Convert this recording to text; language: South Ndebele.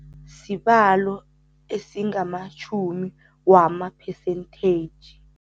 Sibalo esingamatjhumi wama-percentage.